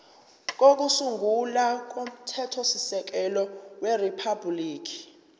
kokusungula komthethosisekelo weriphabhuliki